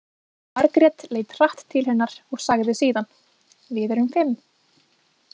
Margrét leit hratt til hennar og sagði síðan: Við erum fimm.